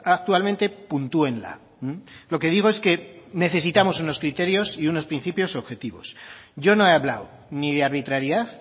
actualmente puntúenla lo que digo es que necesitamos unos criterios y unos principios objetivos yo no he hablado ni de arbitrariedad